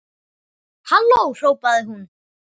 Halló hrópaði hún.